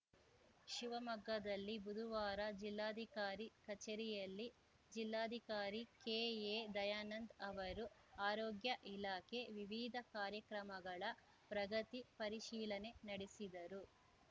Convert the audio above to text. ಶಿವಮೊಗ್ಗದಲ್ಲಿ ಬುದುವಾರ ಜಿಲ್ಲಾಧಿಕಾರಿ ಕಚೇರಿಯಲ್ಲಿ ಜಿಲ್ಲಾಧಿಕಾರಿ ಕೆಎ ದಯಾನಂದ್‌ ಅವರು ಆರೋಗ್ಯ ಇಲಾಖೆ ವಿವಿಧ ಕಾರ್ಯಕ್ರಮಗಳ ಪ್ರಗತಿ ಪರಿಶೀಲನೆ ನಡೆಸಿದರು